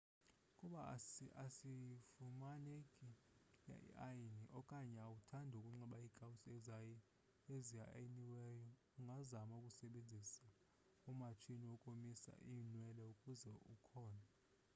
ukuba ayifumaneki iayini okanye awuthandi ukunxiba iikawusi eziayiniweyo ungazama ukusebenzisa umatshini wokomisa iinwele ukuba ukhona